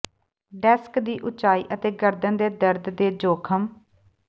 desk ਦੀ ਉਚਾਈ ਅਤੇ ਗਰਦਨ ਦੇ ਦਰਦ ਦੇ ਜੋਖਮ